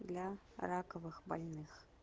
для раковых больных